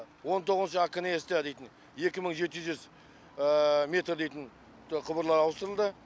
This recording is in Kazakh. он тоғызыншы акнс та дейтін екі мың жеті жүз метр дейтін құбырлар ауыстырылды